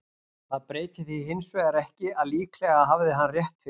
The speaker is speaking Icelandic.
Það breytir því hins vegar ekki að líklega hafði hann rétt fyrir sér.